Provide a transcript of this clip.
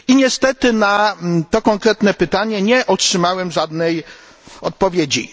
Niestety, na to konkretne pytanie nie otrzymałem żadnej odpowiedzi.